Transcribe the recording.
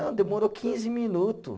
Demorou quinze minutos.